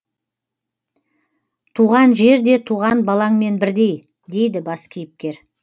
туған жер де туған балаңмен бірдей дейді бас кейіпкер